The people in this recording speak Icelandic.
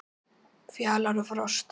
Fjalar og Frosti